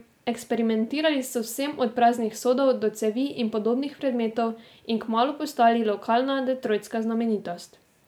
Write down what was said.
Eksperimentirali so z vsem od praznih sodov do cevi in podobnih predmetov in kmalu postali lokalna detroitska znamenitost.